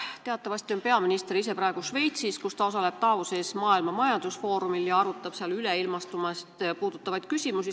Teatavasti on peaminister praegu Šveitsis, kus ta osaleb Davosis Maailma Majandusfoorumi kohtumisel ja arutab seal üleilmastumist puudutavaid küsimusi.